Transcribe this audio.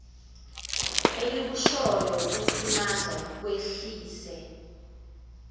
elikushoyo okuthunaza kwehlise